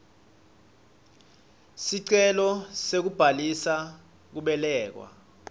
sicelo sekubhalisa kubelekwa